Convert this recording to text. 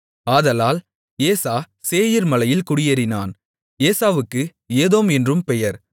ஆதலால் ஏசா சேயீர்மலையில் குடியேறினான் ஏசாவுக்கு ஏதோம் என்றும் பெயர்